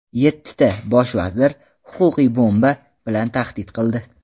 Yettita Bosh vazir "huquqiy bomba" bilan tahdid qildi.